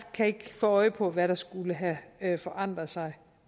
kan ikke få øje på hvad der skulle have have forandret sig